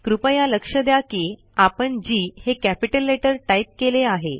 कृपया लक्ष द्या की आपण जी हे कॅपिटल लेटर टाईप केले आहे